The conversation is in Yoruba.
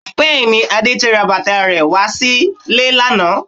Bẹ́ẹ̀ni, Adé ti ra bàtà rẹ wá sílé lánàá